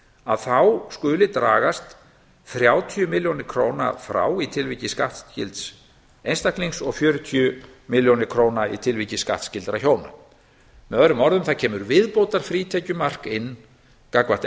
að þá skuli dragast frá þrjátíu milljónir króna frá í tilviki skattskylds einstaklings og fjörutíu milljónir króna í tilviki skattskyldra hjóna með öðrum orðum það kemur viðbótarfrítekjumark inn gagnvart